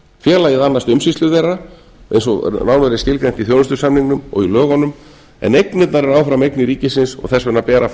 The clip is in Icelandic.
félagið annast umsýslu þeirra eins og nánar er skilgreint í þjónustusamningnum og í lögunum en eignirnar eru áfram eignir ríkisins og þess vegna ber að